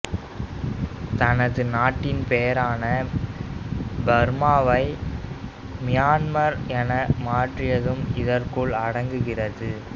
தனது நாட்டின் பெயரான பர்மாவை மியன்மார் என மாற்றியதும் இதற்குள் அடங்குகிறது